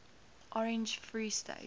orange free state